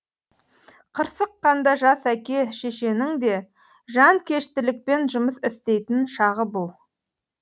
қырсыққанда жас әке шешенің де жанкештілікпен жұмыс істейтін шағы бұл